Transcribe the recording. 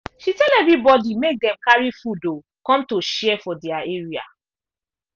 she tell everybody make dem carry food um come to share for their area